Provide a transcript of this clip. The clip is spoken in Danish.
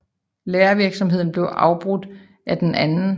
Lærervirksomheden blev afbrudt af den 2